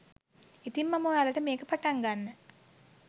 ඉතින් මම ඔයාලට මේක පටන් ගන්න